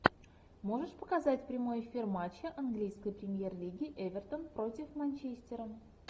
можешь показать прямой эфир матча английской премьер лиги эвертон против манчестера